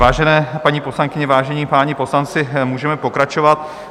Vážené paní poslankyně, vážení páni poslanci, můžeme pokračovat.